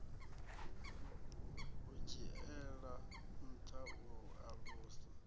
u dzhiela nṱha u alusa